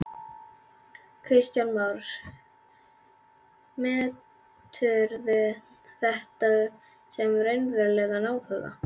Kristján Már: Meturðu þetta sem raunverulegan áhuga?